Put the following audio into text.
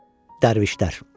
Dərvişlər.